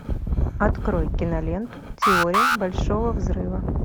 открой киноленту теория большого взрыва